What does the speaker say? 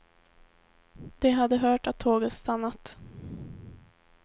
De hade hört att tåget stannat.